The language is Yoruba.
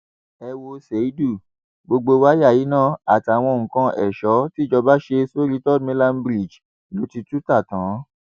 ẹ wo ṣéídù gbogbo wáyà iná àtàwọn nǹkan èso tìjọba ṣe sórí third mainland bridge ló ti tú ta tán